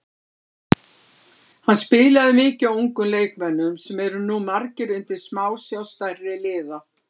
Hann spilaði mikið á ungum leikmönnum sem eru nú margir undir smásjá stærri liða.